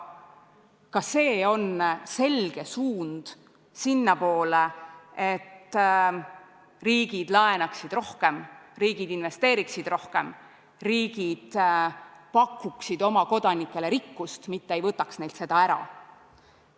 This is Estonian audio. Ka see on selge suund sinnapoole, et riigid laenaksid rohkem, riigid investeeriksid rohkem, riigid pakuksid oma kodanikele rikkust, mitte ei võtaks neilt seda ära.